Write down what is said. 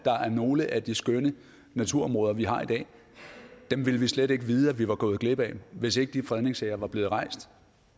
nogle af de skønne naturområder vi har i dag ville vi slet ikke vide at vi var gået glip af hvis ikke de fredningssager var blevet rejst